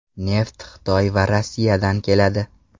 Neft Xitoy va Rossiyadan keladi.